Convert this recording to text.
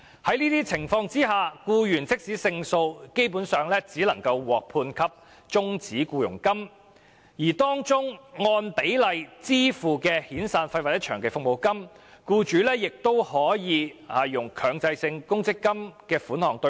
在這些情況下，即使僱員勝訴，基本上亦只能獲判終止僱傭金，而當中按比例支付的遣散費或長期服務金，僱主則可利用強制性公積金的供款"對沖"。